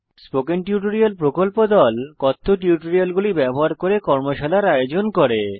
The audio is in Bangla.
স্পোকেন টিউটোরিয়াল প্রকল্প দল কথ্য টিউটোরিয়াল গুলি ব্যবহার করে কর্মশালার আয়োজন করে